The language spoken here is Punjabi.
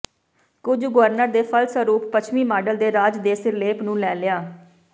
ਕੁਝ ਗਵਰਨਰ ਦੇ ਫਲਸਰੂਪ ਪੱਛਮੀ ਮਾਡਲ ਦੇ ਰਾਜੇ ਦੇ ਸਿਰਲੇਖ ਨੂੰ ਲੈ ਲਿਆ